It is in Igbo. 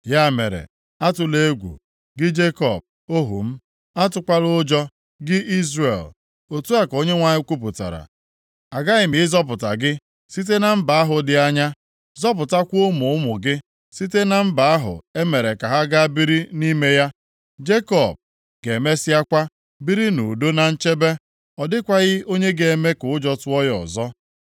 “ ‘Ya mere, atụla egwu, gị Jekọb, ohu m. Atụkwala ụjọ + 30:10 Ya bụ, adakwala mba gị Izrel,’ Otu a ka Onyenwe anyị kwupụtara. ‘Aghaghị m ịzọpụta gị site na mba ahụ dị anya, zọpụtakwa ụmụ ụmụ gị site na mba ahụ e mere ka ha gaa biri nʼime ya. Jekọb ga-emesịakwa biri nʼudo na nchebe. Ọ dịkwaghị onye ga-eme ka ụjọ tụọ ya ọzọ.